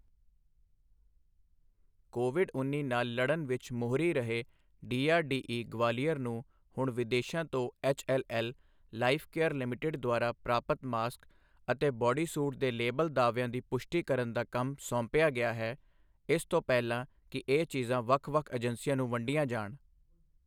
Covid ਉੱਨੀ ਨਾਲ ਲੜਨ ਵਿੱਚ ਮੋਹਰੀ ਰਹੇ, ਡੀਆਰਡੀਈ, ਗਵਾਲੀਅਰ, ਨੂੰ ਹੁਣ ਵਿਦੇਸ਼ਾਂ ਤੋਂ ਐੱਚਐੱਲਐੱਲ ਲਾਈਫ਼ਕੇਅਰ ਲਿਮਿਟਿਡ ਦੁਆਰਾ ਪ੍ਰਾਪਤ ਮਾਸਕ ਅਤੇ ਬਾਡੀ ਸੂਟ ਦੇ ਲੇਬਲ ਦਾਅਵਿਆਂ ਦੀ ਪੁਸ਼ਟੀ ਕਰਨ ਦਾ ਕੰਮ ਸੌਂਪਿਆ ਗਿਆ ਹੈ, ਇਸ ਤੋਂ ਪਹਿਲਾਂ ਕਿ ਇਹ ਚੀਜ਼ਾਂ ਵੱਖ ਵੱਖ ਏਜੰਸੀਆਂ ਨੂੰ ਵੰਡੀਆਂ ਜਾਣ।